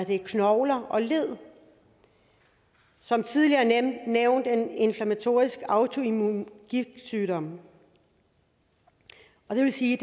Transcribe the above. i knogler og led som tidligere nævnt er det en inflammatorisk autoimmun gigtsygdom og det vil sige